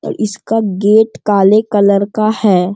इस का गेट काले कलर का है |